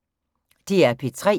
DR P3